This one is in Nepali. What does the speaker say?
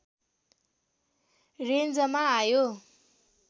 रेन्जमा आयो